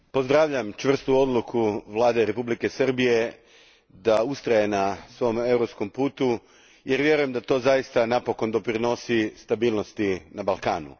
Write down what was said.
Gospođo predsjednice, pozdravljam čvrstu odluku Vlade Republike Srbije da ustraje na svom europskom putu, jer vjerujem da to zaista napokon doprinosi stabilnosti na Balkanu.